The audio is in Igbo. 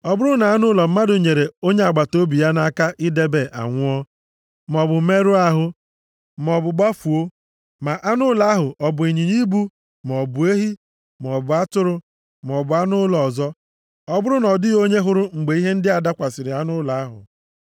“Ọ bụrụ na anụ ụlọ mmadụ nyere onye agbataobi ya nʼaka idebe anwụọ, maọbụ merụọ ahụ, maọbụ gbafuo, ma anụ ụlọ ahụ ọ bụ ịnyịnya ibu, maọbụ ehi, maọbụ atụrụ, maọbụ anụ ụlọ ọzọ, ọ bụrụ na ọ dịghị onye hụrụ mgbe ihe ndị a dakwasịrị anụ ụlọ ahụ,